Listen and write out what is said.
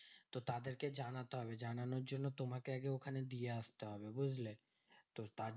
তো তাদেরকে জানাতে হবে জানানোর জন্য তোমাকে আগে ওখানে দিয়ে আসতে হবে, বুঝলে? তো তার